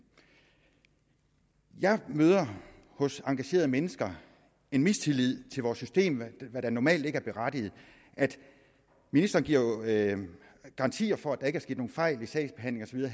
jeg møder hos engagerede mennesker en mistillid til vores system hvad der normalt ikke er berettiget ministeren giver jo garantier for at der ikke er sket nogen fejl i sagsbehandlingen